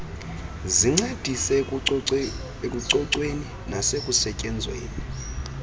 zincedise ekucocweni nasekusetyenzweni